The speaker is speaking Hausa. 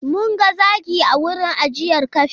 Mun ga zaki a wurin ajiyar kafe.